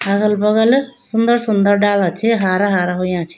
अगल बगल सुन्दर सुन्दर डाला छी हारा हारा हुयां छी।